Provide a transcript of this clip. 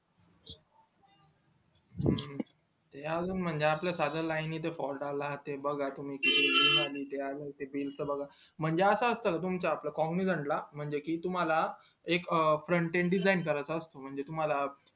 त्या मध्ये आपलं साधं line च fault आला बगा ते बाग तुम्ही हे आलं ते आलं bill च बगा म्हणजे असत असत तुमच्या ला cognizant म्हणजे कि तुम्हला एक frontend design करायचा असतो म्हणजे तुम्हला